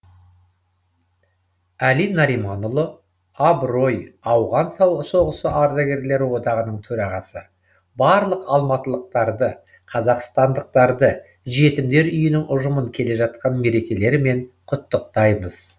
әли нариманұлы абырой ауған соғысы ардагерлері одағының төрағасы барлық алматылықтарды қазақстандықтарды жетімдер үйінің ұжымын келе жатқан мерекелерімен құттықтаймыз